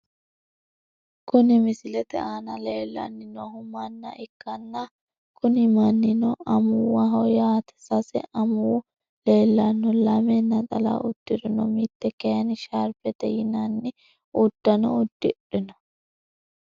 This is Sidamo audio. Kuni misilete aana leellanni noohu manna ikkanna kuni mannino amuwaho yaate sase amuwi leellanno lame naxala udirino, mitte kayiinni sharbete yinanni uddano udidhino.